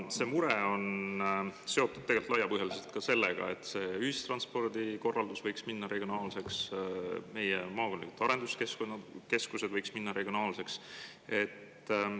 See mure on seotud laiapõhjaliselt ka sellega, et see ühistranspordi korraldus võiks minna regionaalseks ja meie maakondlikud arenduskeskused võiksid minna regionaalseks.